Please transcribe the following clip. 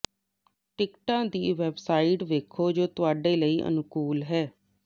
ਟਿਕਟਾਂ ਦੀ ਵੈੱਬਸਾਈਟ ਵੇਖੋ ਜੋ ਤੁਹਾਡੇ ਲਈ ਅਨੁਕੂਲ ਹੈ